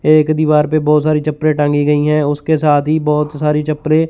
एक दीवार पे बहोत सारी चप्पले टांगी गई है उसके साथ ही बहोत सारी चप्पले--